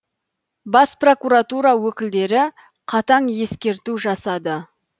бас прокуратура өкілдері қатаң ескерту жасады